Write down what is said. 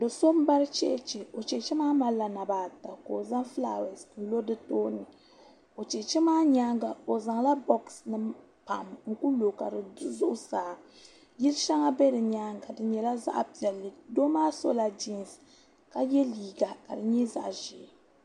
Do' So M-BaRi CHeCHe o CHeCHe maa malila naba ata ka o zaŋ fulaawaasi n-lo di tooni o cheche maa nyaaŋa o Zaŋla bɔgisinima pam n-ku lo ka di du zuɣusaa yil' shɛŋa be di nyaaŋa di nyɛla zaɣ' piɛlli doo maa sɔla jinsi ka ye liiga ka di nyɛ zaɣ' ʒee